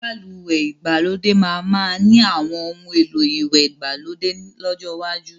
Balùwẹ́ ìgbàlódé máa ma ni àwọn oun èlò ìwẹ̀ ìgbàlódé lọ́jọ́ iwájú